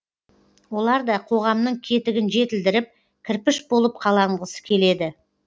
олар да қоғамның кетігін жетілдіріп кірпіш болып қаланғысы келеді